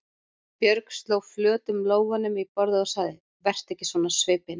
Björg sló flötum lófunum í borðið og sagði: Vertu ekki svona á svipinn.